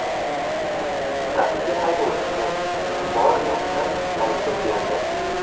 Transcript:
Taksi haydovchisi bor gapni aytib berdi.